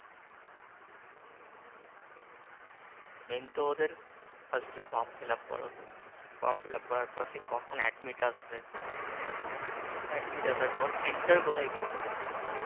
main তো ওদের first এ form fill up করো form fill up করার পর সেই কখন admit আসবে admit আসার পর center কোথায় পড়বে